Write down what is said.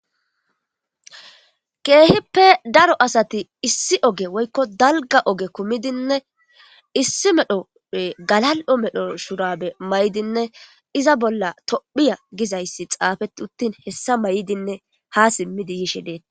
Keehippe daro asati issi oge woyko dalga oge kumid issi medho woyko gakal'o medho shurabe mayidinne iza bolla tophiya gizays xufet uttin hessa mayidinne ha simid yishe detes .